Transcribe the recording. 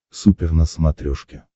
супер на смотрешке